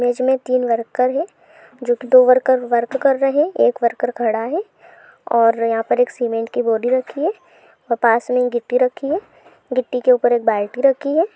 Image मे तीन worker है जो दो वर्कर वर्क कर रहे है एक वर्कर खड़ा है और यहा पर सिमेन्ट की बॉडी रखी है पास मे गिट्टी रखी है गिट्टी के उपर बाल्टी रखी है।